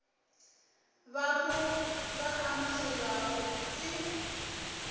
ba mo ba amogelwago ke